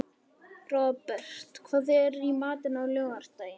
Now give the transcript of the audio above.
Robert, hvað er í matinn á laugardaginn?